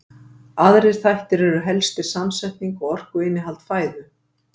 aðrir þættir eru helstir samsetning og orkuinnihald fæðu